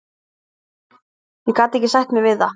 Ég gat ekki sætt mig við það.